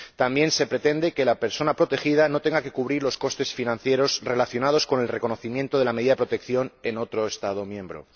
También se pretende que la persona protegida no tenga que cubrir los costes financieros relacionados con el reconocimiento de la medida de protección en otro Estado miembro.